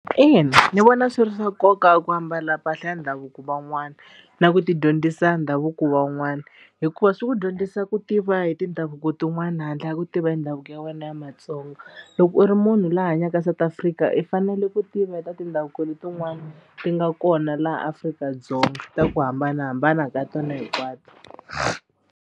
Ina ni vona swi ri swa nkoka ku ambala mpahla ya ndhavuko van'wana na ku tidyondzisa ndhavuko van'wana hikuva swi ku dyondzisa ku tiva hi tindhavuko tin'wani handle ka ku tiva hi ndhavuko ya wena ya Matsonga loko u ri munhu loyi a hanyaka South Africa i fanele ku tiva hi ta tindhavuko letin'wani ti nga kona laha Afrika-Dzonga ta ku hambanahambana ka tona hinkwato.